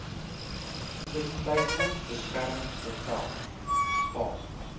tussentydse beskermingsbevel staan